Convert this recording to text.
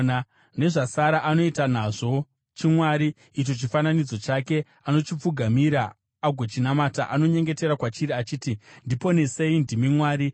Nezvasara anoita nazvo chimwari, icho chifananidzo chake; anochipfugamira agochinamata. Anonyengetera kwachiri achiti, “Ndiponesei; ndimi mwari wangu.”